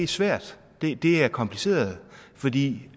svært det er kompliceret fordi